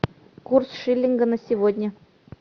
курс шиллинга на сегодня